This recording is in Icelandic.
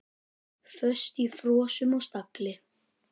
Föst í frösum og stagli.